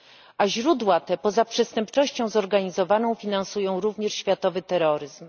A źródła te poza przestępczością zorganizowaną finansują również światowy terroryzm.